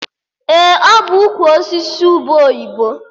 Ee, ọ bụ ukwu osisi ube oyibo